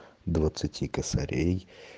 двадцати косарей